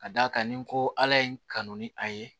Ka d'a kan ni ko ala ye n kanu ni a ye